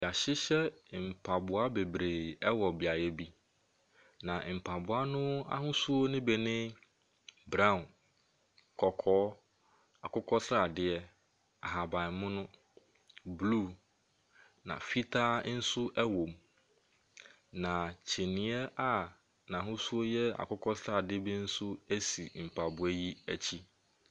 Wɔahyehyɛ mpaboa bebree wɔ beaeɛ bi, na mpaboa no bi ahosuo ne brown, kɔkɔɔ, akokɔ sradeɛ, ahaban mono, blue, na fitaa nso wom. Na kyiniiɛ a n'ahosuo yɛ akokɔ sradeɛ bi nso si mpaboa yi akyi.